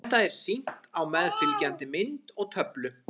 Þetta er sýnt á meðfylgjandi mynd og töflu.